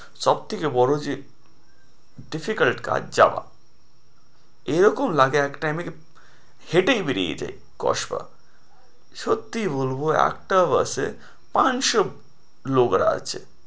সব থেকে বড়ো যে difficult কাজ যাওয়া এরকম লাগে এক time এ কি হেঁটেই বেরিয়ে যাই কসবা সত্যি বলবো একটা bus এ পাঁচশো লোকরা আছে।